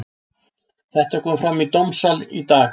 Þetta kom fram í dómssal í dag.